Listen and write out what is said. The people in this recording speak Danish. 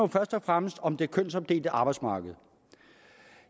først og fremmest om det kønsopdelte arbejdsmarked